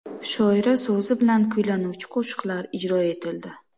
Shoira so‘zi bilan kuylanuvchi qo‘shiqlar ijro etildi.